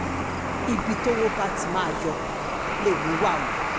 ibi tọ́wọ́ bá ti máa yọ lèmi wà o